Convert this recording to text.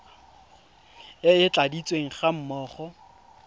e e tladitsweng ga mmogo